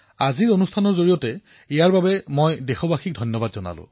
তেওঁলোকে যি ধৈৰ্য সংযম আৰু পৰিপক্কতাৰ পৰিচয় দিলে তাৰবাবে মই বিশেষ কৃতজ্ঞতা প্ৰকাশ কৰিছো